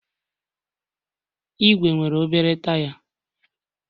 Ìgwè nwere obere taya